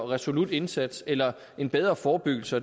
resolut indsats eller en bedre forebyggelse